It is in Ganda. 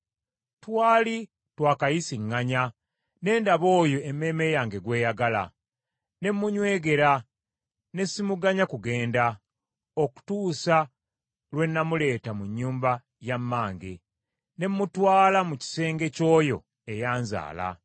Twali twakayisiŋŋanya, ne ndaba oyo emmeeme yange gw’eyagala. Ne munnywegera ne simuganya kugenda, okutuusa lwe namuleeta mu nnyumba ya mmange, ne mutwala mu kisenge ky’oyo eyanzaala.